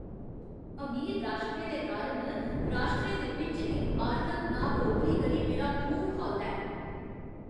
अमीर राश्ट्रें दे कारण राश्ट्रें दे बिच्च इस आर्थिक नाबरोबरी करी मेरा खून खौलदा ऐ।